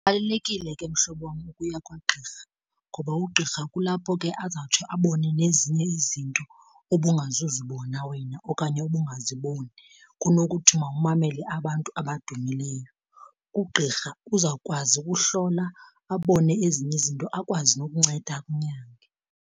Kubalulekile ke mhlobo wam ukuya kwagqirha ngoba ugqirha kulapho ke azawutsho abone nezinye izinto ubungazuzibona wena okanye ubungaziboni kunokuthiwa umamele abantu abadumileyo. Ugqirha uzawukwazi ukuhlola abone ezinye izinto akwazi nokunceda akunyange.